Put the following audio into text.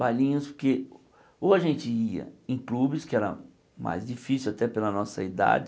Bailinhos porque ou a gente ia em clubes, que era mais difícil até pela nossa idade,